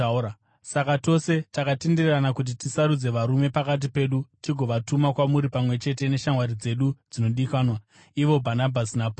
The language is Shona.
Saka tose takatenderana kuti tisarudze varume pakati pedu tigovatuma kwamuri pamwe chete neshamwari dzedu dzinodikanwa ivo Bhanabhasi naPauro,